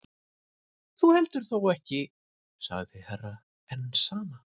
Þú heldur þó ekki sagði Herra Enzana.